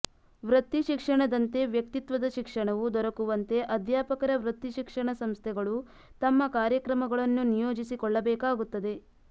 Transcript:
ವೃತ್ತಿಶಿಕ್ಷಣದಂತೆ ವ್ಯಕ್ತಿತ್ವದ ಶಿಕ್ಷಣವೂ ದೊರಕುವಂತೆ ಅಧ್ಯಾಪಕರ ವೃತ್ತಿಶಿಕ್ಷಣ ಸಂಸ್ಥೆಗಳು ತಮ್ಮ ಕಾರ್ಯಕ್ರಮಗಳನ್ನು ನಿಯೋಜಿಸಿ ಕೊಳ್ಳಬೇಕಾಗುತ್ತದೆ